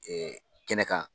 kɛnɛ kan.